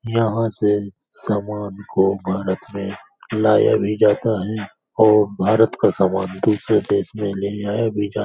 यहाँ से सामान को भारत में लाया भी जाता है और भारत का सामान दूसरे देश में ले जाया भी जा --